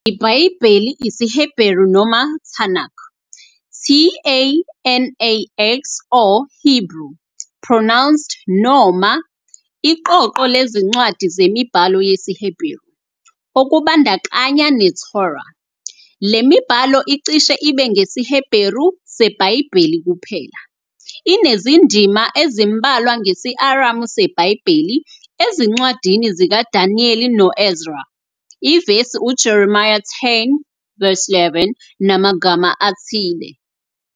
IBhayibheli isiHebheru noma Tanakh, t a a n a x, Hebrew - pronounced noma, iqoqo lezincwadi zemibhalo yesiHeberu, okubandakanya neTorah. Le mibhalo icishe ibe ngesiHeberu seBhayibheli kuphela, inezindima ezimbalwa ngesi-Aramu seBhayibheli, ezincwadini zikaDaniel no- Ezra, ivesi uJeremiya 10 verse 11, namaga ma athile.